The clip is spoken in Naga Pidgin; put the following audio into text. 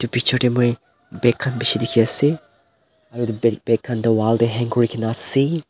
bichortae moi bag khan bishi dikhiase aro edu bag bag khan toh wall tae hang kurina ase.